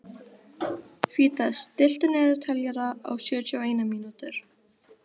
Fídes, stilltu niðurteljara á sjötíu og eina mínútur.